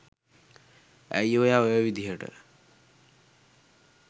ඇයි ඔයා ඔය විදිහට